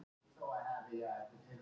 Köstuðu hellum í þinghúsið